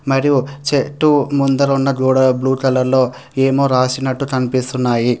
మరియు చెట్టు ముందర ఉన్న గోడ బ్లూ కలర్ లో ఏమో రాసినట్టు కనిపిస్తున్నాయి.